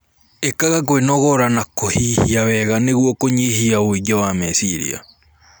Ikaga kwinogora na kuhihia wega nĩguo kunyihia wũingĩ wa mecirĩa